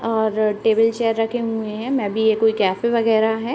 और table chair रखे हुए हैं। मे बी ये कोई कैफ़े वगैरा है।